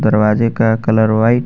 दरवाजे का colour white --